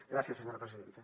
gràcies senyora presidenta